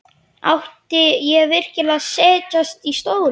Átti ég virkilega að setjast í stólinn?